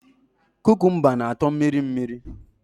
Kukumba na atọ mmiri mmiri